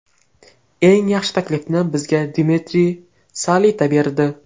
Eng yaxshi taklifni bizga Dmitriy Salita berdi.